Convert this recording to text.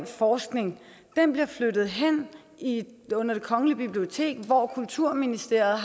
forskning den bliver flyttet hen under det kongelige bibliotek hvor kulturministeren